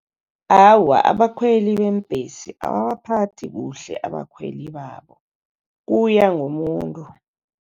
Awa, abakhweli beembhesi ababaphathi kuhle abakhweli babo kuya ngomuntu.